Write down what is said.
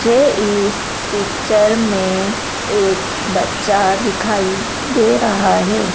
मुझे इस पिक्चर में एक बच्चा दिखाई दे रहा है।